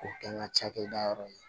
K'o kɛ n ka cakɛda yɔrɔ ye